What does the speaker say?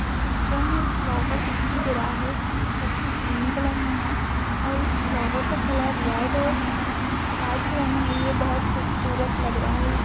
इस पिक्चर में एक फ्लावर दिखाई दे रहा है जिसकी पत्ती ग्रीन कलर मे है और इस फ्लावर का कलर का रेड और वाइट कलर मे है यह बहुत खूबसूरत लग रहा है।